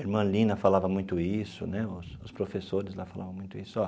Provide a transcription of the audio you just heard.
Irmã Lina falava muito isso né, os os professores falavam muito isso ó.